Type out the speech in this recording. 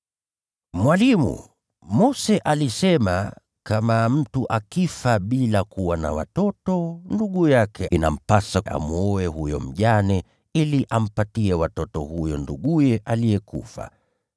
“Mwalimu, Mose alisema, ‘Kama mtu akifa bila kuwa na watoto, ndugu yake inampasa amwoe huyo mjane ili ampatie watoto huyo nduguye aliyekufa.’